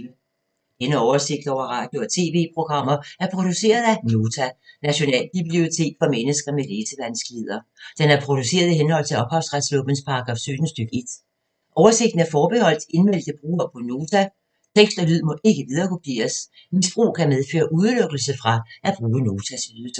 Denne oversigt over radio og TV-programmer er produceret af Nota, Nationalbibliotek for mennesker med læsevanskeligheder. Den er produceret i henhold til ophavsretslovens paragraf 17 stk. 1. Oversigten er forbeholdt indmeldte brugere på Nota. Tekst og lyd må ikke viderekopieres. Misbrug kan medføre udelukkelse fra at bruge Notas ydelser.